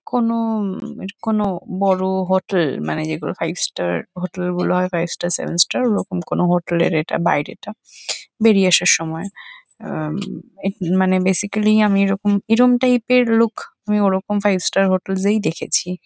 কোনো অম এর কোনো বড় হোটেল মানে যেগুলো ফাইভ স্টার হোটেল গুলো হয় ফাইভ স্টার সেভেন স্টার ওরকম কোনো হোটেল এর এটা বাইরেটা। বেরিয়ে আসার সময় আহ এ মানে বেসিকালি আমি এরকম এরম টাইপ এর লোক আমি ওরকম ফাইভ স্টার হোটেল স এই দেখেছি।